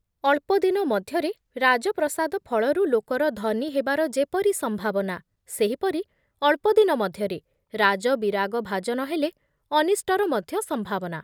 ଅଳ୍ପଦିନ ମଧ୍ୟରେ ରାଜପ୍ରସାଦ ଫଳରୁ ଲୋକର ଧନୀ ହେବାର ଯେପରି ସମ୍ଭାବନା, ସେହିପରି ଅଳ୍ପଦିନ ମଧ୍ୟରେ ରାଜ ବିରାଗଭାଜନ ହେଲେ ଅନିଷ୍ଟର ମଧ୍ୟ ସମ୍ଭାବନା ।